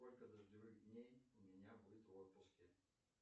сколько дождевых дней у меня будет в отпуске